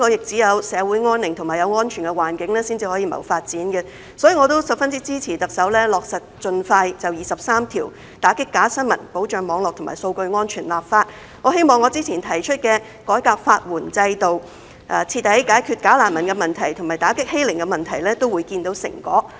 只有香港社會安寧和有安全的環境，才可以謀發展，所以我也十分支持特首盡快落實有關第二十三條、打擊假新聞、保障網絡和數據安全的立法，我希望我較早前提出的改革法援制度、徹底解決假難民問題和打擊欺凌問題也會見到成果。